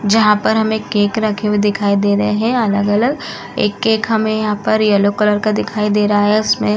जहाँ पर हमें केक रखे हुए दिखाई दे रहे हैं अलग-अलग। एक केक हमें यहाँ पर येलो कलर का दिखाई दे रहा है उसमें --